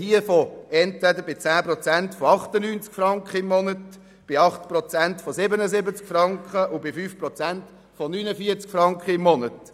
Wir sprechen bei 10 Prozent von 98 Franken im Monat, bei 8 Prozent von 77 Franken und bei 5 Prozent von 49 Franken im Monat.